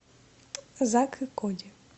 зак и коди